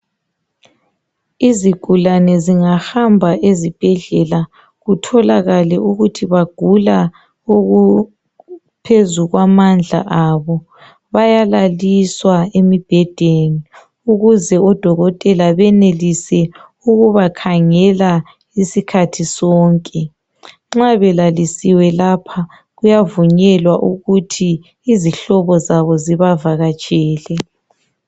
Izigulane zingahamba ezibhedlela kutholakale ukuthi bagula okungaphezu kwamandla abo, bayalaliswa embhedeni ukuze odokotela benelise ukubakhangela isikhathi sonke. Nxa belalisiwe lapha kuyavunyelwa ukuthi izihlobo zabo zibavakatshele.